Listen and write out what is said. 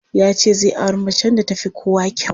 Ya ce zai auri macen da ta fi kowa kyau.